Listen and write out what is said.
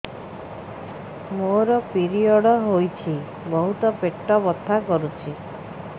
ମୋର ପିରିଅଡ଼ ହୋଇଛି ବହୁତ ପେଟ ବଥା କରୁଛି